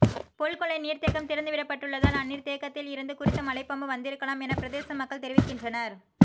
பொல்கொல்லை நீர்தேக்கம் திறந்து விடப்பட்டுள்ளதால் அந்நீர் தேக்கத்தில் இருந்து குறித்து மலை பாம்பு வந்திருக்கலாம் என பிரதேச மக்கள் தெரிவிக்கின்றனர்